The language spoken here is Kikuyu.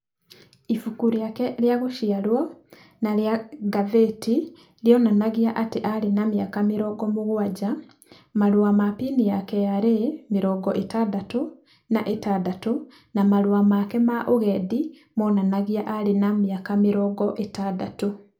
ĩbuku rĩake rĩa gũciarwo na rĩa ngathĩti rĩonanagia atĩ arĩ na mĩaka mĩrongo mũgwaja, marũa ma bini ya KRA mĩrongo ĩtandatũ na ĩtandatũ na marũa make ma ũgendi monanagia arĩ na mĩaka mĩrongo ĩtandatũ.